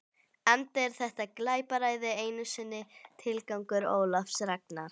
Enda er þetta glapræði ekki einu sinni tilgangur Ólafs Ragnars.